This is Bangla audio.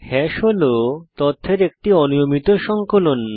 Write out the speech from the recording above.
হ্যাশ হল তথ্যের একটি অনিয়মিত সংকলন